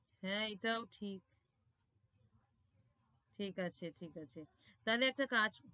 হ্যাঁ, এটাও ঠিক ঠিক আছে ঠিক আছে, তাহলে একটা কাজ